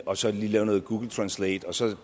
og så lige lave noget google translate og så